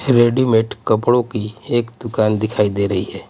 Readymade कपड़ों की एक दुकान दिखाई दे रही है.